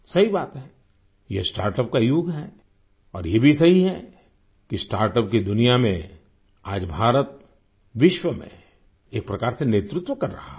सही बात है ये स्टार्टअप का युग है और ये भी सही है कि स्टार्टअप की दुनिया में आज भारत विश्व में एक प्रकार से नेतृत्व कर रहा है